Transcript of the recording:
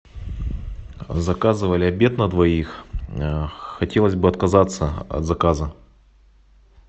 заказывали обед на двоих хотелось бы отказаться от заказа